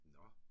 Nåh